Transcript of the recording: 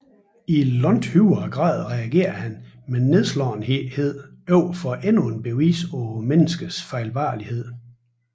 I langt højere grad reagerer han med nedslåethed over for endnu et bevis på menneskets fejlbarlighed